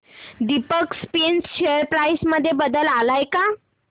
Deepak Spinners share price मध्ये बदल आलाय का